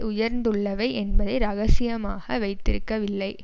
உயர்ந்துள்ளவை என்பதை இரகசியமாக வைத்திருக்கவில்லை